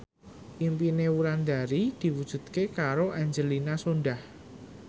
impine Wulandari diwujudke karo Angelina Sondakh